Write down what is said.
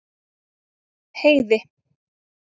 Heiði